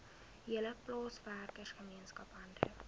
hele plaaswerkergemeenskap hande